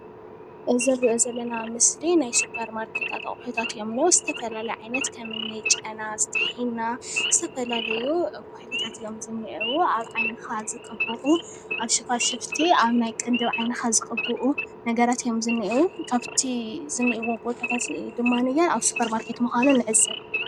እዚ ንርኦ ዘለና ምስሊ ናይ ስፖርማርኬት ኣቁሑታት እዮም ዝነአው ። ዝተፈላለዩ ዓይነት ከምኒ ጨና ፣ሕና ዝተፈላለዩ ኩሑልታት እዮም ዘነአው ።ኣብ ዓይንካ ዝቅቡኡ ፣ኣብ ሸፋሽፍቲ ኣብ ቅንድብ ዓይኒካ ዝቅቡኡ ነገራት እዮም ዝነአው ።ካብቲ ዝነኤውዎ ቦታታት ድማ ኣብ ስፖርማርኬት ምኳኖም ንዕዘብ።